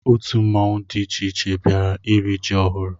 Otu mmanwụ dị iche iche bịara iri ji ọhụrụ ahụ.